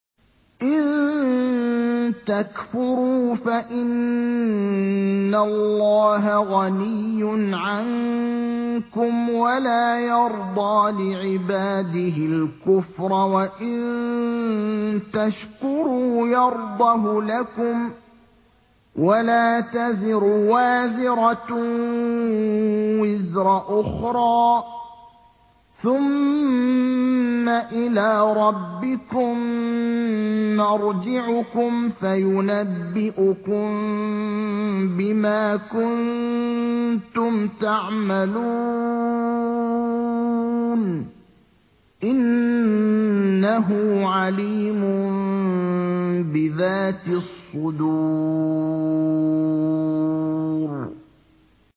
إِن تَكْفُرُوا فَإِنَّ اللَّهَ غَنِيٌّ عَنكُمْ ۖ وَلَا يَرْضَىٰ لِعِبَادِهِ الْكُفْرَ ۖ وَإِن تَشْكُرُوا يَرْضَهُ لَكُمْ ۗ وَلَا تَزِرُ وَازِرَةٌ وِزْرَ أُخْرَىٰ ۗ ثُمَّ إِلَىٰ رَبِّكُم مَّرْجِعُكُمْ فَيُنَبِّئُكُم بِمَا كُنتُمْ تَعْمَلُونَ ۚ إِنَّهُ عَلِيمٌ بِذَاتِ الصُّدُورِ